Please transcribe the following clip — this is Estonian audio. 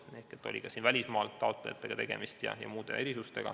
Näiteks oli siin tegemist välismaalt taotlejatega ja esines muidki erisusi.